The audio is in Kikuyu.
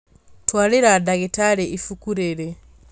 Twarĩra ndagĩtarĩ ibuku rĩrĩ